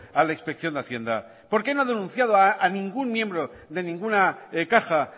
a la inspección de hacienda por qué no ha denunciado a ningún miembro de ninguna caja